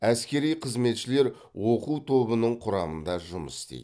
әскери қызметшілер оқу тобының құрамында жұмыс істейді